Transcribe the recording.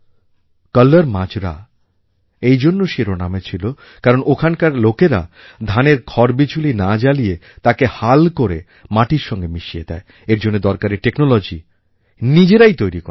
কল্লর মাজরা এই জন্য শিরোনামে ছিল কারণ ওখানকার লোকেরা ধানের খড়বিচুলি না জ্বালিয়ে তাকে হাল করে মাটির সঙ্গে মিশিয়ে দেয় এর জন্য দরকারী টেকনোলজি নিজেরাই তৈরি করেন